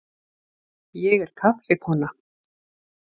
Ég er kaffikona.